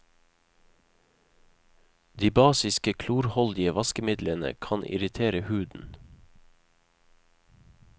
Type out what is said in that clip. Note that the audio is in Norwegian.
De basiske klorholdige vaskemidlene kan irritere huden.